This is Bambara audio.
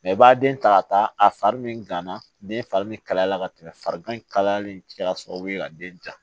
i b'a den ta ka taa a fari min gana den fari min kalaya la ka tɛmɛ fari kanlen kɛra sababu ye ka den ja